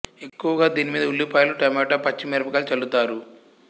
ఎక్కువగా దీనిమీద ఉల్లిపాయలు టమోటా పచ్చి మిరప కాయలు చల్లుతారు